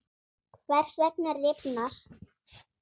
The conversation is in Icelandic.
Hvers vegna rifnar?